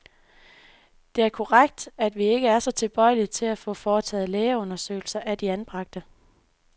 Det er korrekt, at vi ikke er så tilbøjelige til at få foretaget lægeundersøgelser af de anbragte.